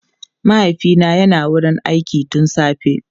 Mahaifina yana wurin aiki tun safe.